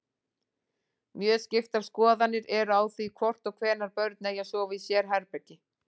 Mjög skiptar skoðanir eru á því hvort og hvenær börn eigi að sofa í sérherbergi.